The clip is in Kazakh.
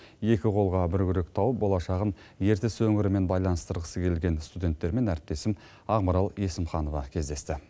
екі қолға бір күрек тауып болашағын ертіс өңірімен байланыстырғысы келген студенттермен әріптесім ақмарал есімханова кездесті